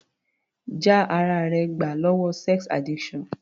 Já ara rẹ gbà lọ́wọ́ sex addiction.